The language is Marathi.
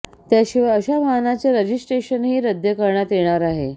त्याशिवाय अशा वाहनाचे रजिस्ट्रेशनही रद्द करण्यात येणार आहे